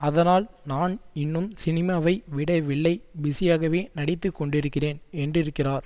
அதனால் நான் இன்னும் சினிமாவை விடவில்லைபிஸியாகவே நடித்து கொண்டிருக்கிறேன் என்றிருக்கிறார்